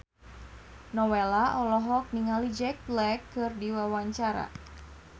Nowela olohok ningali Jack Black keur diwawancara